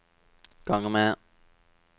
gang med